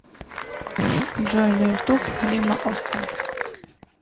джой на ютуб лима оста